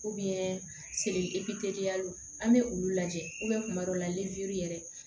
epi teliya lo an be olu lajɛ kuma dɔw la yɛrɛ